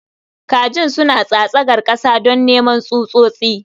Kajin suna tsatsagar ƙasa don neman tsutsotsi.